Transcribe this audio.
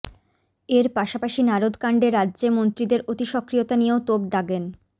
এর পাশাপাশি নারদকাণ্ডে রাজ্যে মন্ত্রীদের অতিসক্রিয়তা নিয়েও তোপ দাগেন